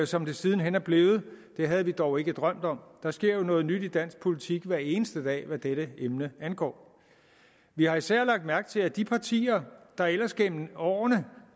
som det siden hen er blevet havde vi dog ikke drømt om der sker jo noget nyt i dansk politik hver eneste dag hvad dette emne angår vi har især lagt mærke til at de partier der ellers gennem årene